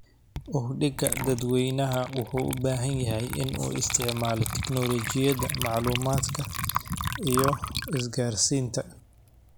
Uhdhigga dadweynaha wuxuu u baahan yahay in uu isticmaalo teknoolojiyada macluumaadka iyo isgaarsiinta.